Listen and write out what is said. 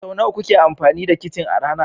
Sau nawa kuke amfani da kicin a rana?